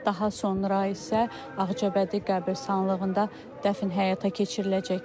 Daha sonra isə Ağcabədi qəbristanlığında dəfn həyata keçiriləcək.